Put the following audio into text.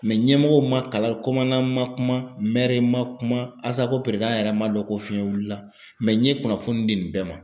ɲɛmɔgɔw ma kala komana ma kuma, ma kuma, ASACO peredan yɛrɛ ma dɔn ko fiɲɛ wulila n ye kunnafoni di nin bɛɛ ma.